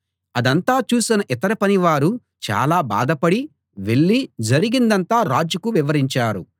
అదంతా చూసిన ఇతర పనివారు చాలా బాధపడి వెళ్ళి జరిగిందంతా రాజుకు వివరించారు